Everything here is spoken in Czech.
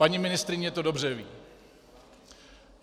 Paní ministryně to dobře ví.